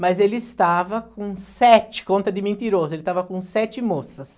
Mas ele estava com sete, conta de mentiroso, ele estava com sete moças.